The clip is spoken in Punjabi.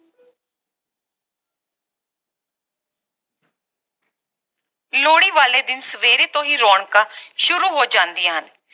ਲੋਹੜੀ ਵਾਲੇ ਦਿਨ ਸਵੇਰੇ ਤੋਂ ਹੀ ਰੌਣਕਾਂ ਸ਼ੁਰੂ ਹੋ ਜਾਂਦੀਆਂ ਹਨ